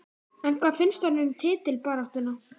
En hvað finnst honum um titilbaráttuna?